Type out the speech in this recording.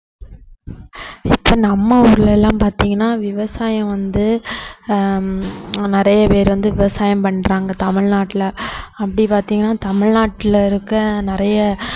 இப்ப நம்ம ஊர்ல எல்லாம் பாத்தீங்கன்னா விவசாயம் வந்து ஆஹ் ஹம் நிறைய பேர் வந்து விவசாயம் பண்றாங்க தமிழ்நாட்டில அப்படி பாத்தீங்கன்னா தமிழ்நாட்டுல இருக்க நிறைய